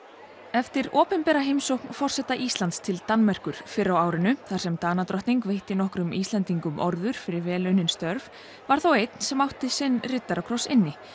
eftir opinbera heimsókn forseta Íslands til Danmerkur fyrr á árinu þar sem Danadrottning veitti nokkrum Íslendingum orður fyrir vel unnin störf var þó einn sem enn átti sinn riddarakross inni